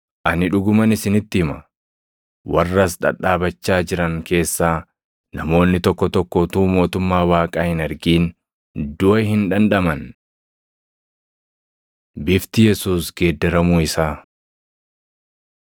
“Ani dhuguman isinitti hima; warra as dhadhaabachaa jiran keessaa namoonni tokko tokko utuu mootummaa Waaqaa hin argin duʼa hin dhandhaman.” Bifti Yesuus Geeddaramuu Isaa 9:28‑36 kwf – Mat 17:1‑8; Mar 9:2‑8